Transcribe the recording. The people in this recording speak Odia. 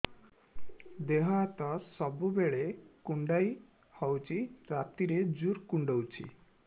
ଦେହ ହାତ ସବୁବେଳେ କୁଣ୍ଡିଆ ହଉଚି ରାତିରେ ଜୁର୍ କୁଣ୍ଡଉଚି